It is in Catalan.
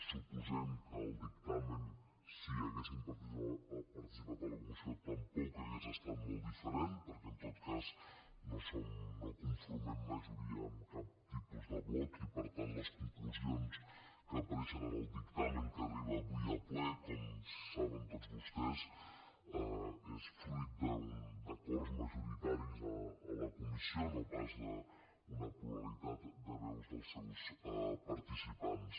suposem que el dictamen si haguéssim participat a la comissió tampoc hauria estat molt diferent perquè en tot cas no conformem majoria amb cap tipus de bloc i per tant les conclusions que apareixen en el dictamen que arriba avui a ple com saben tots vostès són fruit d’acords majoritaris a la comissió no pas d’una pluralitat de veus dels seus participants